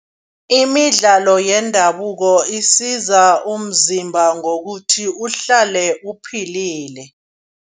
Imidlalo yendabuko isiza umzimba ngokuthi uhlale uphilile.